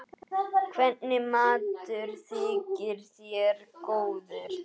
Hvernig matur þykir þér góður?